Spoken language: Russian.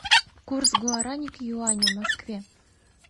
курс гуарани к юаню в москве